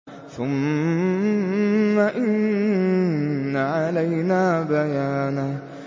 ثُمَّ إِنَّ عَلَيْنَا بَيَانَهُ